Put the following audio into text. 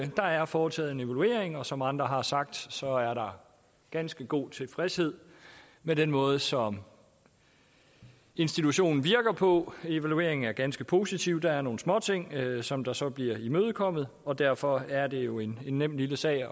der er foretaget en evaluering og som andre har sagt er der ganske god tilfredshed med den måde som institutionen virker på evalueringen er ganske positiv der er nogle småting som der så bliver imødekommet og derfor er det jo en nem lille sag